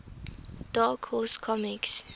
dark horse comics